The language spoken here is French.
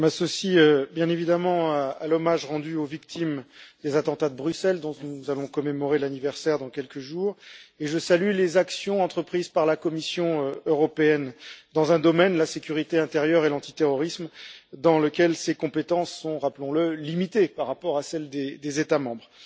Madame la Présidente, je m'associe bien évidemment à l'hommage rendu aux victimes des attentats de Bruxelles, dont nous allons commémorer l'anniversaire dans quelques jours, et je salue les actions entreprises par la Commission européenne dans un domaine la sécurité intérieure et l'antiterrorisme dans lequel ses compétences sont, rappelons le, limitées par rapport à celles des États membres.